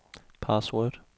password